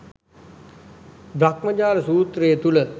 බ්‍රහ්මජාල සූත්‍රය තුළ